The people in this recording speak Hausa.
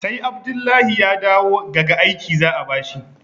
sai Abdullahi ya dawo gaga aiki za a bashi